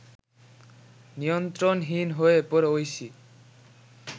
নিয়ন্ত্রণহীন হয়ে পড়ে ঐশী